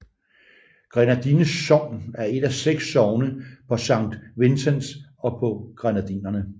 Grenadines sogn er et af seks sogne på Saint Vincent og Grenadinerne